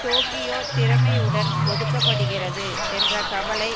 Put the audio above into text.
Tokyo திறமையுடன் ஒதுக்க படுகிறது என்ற கவலை